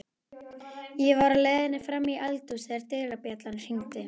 Ég var á leiðinni fram í eldhús þegar dyrabjallan hringdi.